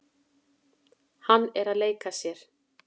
Hann er að leika sér.